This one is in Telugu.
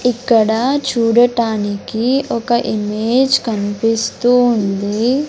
ఇక్కడ చూడటానికి ఒక ఇమేజ్ కన్పిస్తూ ఉంది.